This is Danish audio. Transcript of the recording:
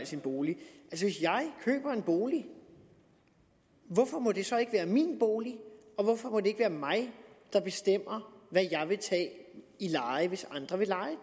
sin bolig hvis jeg køber en bolig hvorfor må det så ikke være min bolig og hvorfor må det ikke være mig der bestemmer hvad jeg vil tage i leje hvis andre vil leje